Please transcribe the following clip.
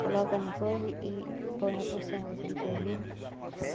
Coloca no coisa e põe a puçanga, aquele polvilho.